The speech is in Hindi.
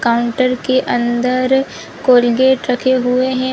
काउंटर के अंदर कोलगेट रखे हुए है।